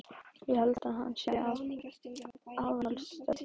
Ég held að hann sé af aðalsættum.